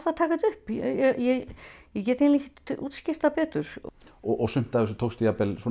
að taka þetta upp ég ég get ekki útskýrt það betur og sumt af þessu tókstu